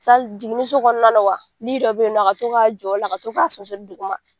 jiginniso kɔnɔna wa dɔ bɛ yen nɔ, a ka to ka jɔ o la , a ka to sonsonri duguma.